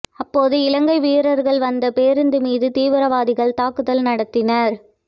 அப்போது இலங்கை வீரர்கள் வந்த பேருந்து மீது தீவிரவாதிகள் தாக்குதல் நடத்தினர்